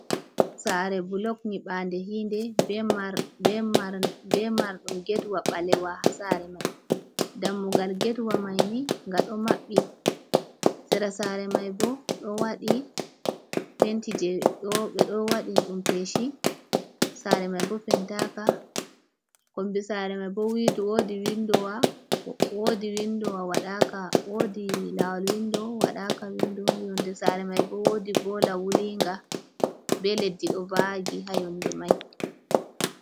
Saare bulok nyiɓaande hiinde, be marɗum gedwa ɓalewa haa saare may. Dammugal gedwa may ni, nga ɗo maɓɓi, sera saare may bo, ɗo waɗi penti jey ɓe ɗo waɗi ɗum peeci bo pentaaka. Kombi saare may bo, woodi winndowa, woodi winndowa waɗaka, woodi laawol winndo waɗaka, winndo yonnde saare may bo, woodi boola wulinga, be leddi, ɗo vaagi haa yonnde may.